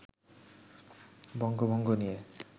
বঙ্গভঙ্গ নিয়ে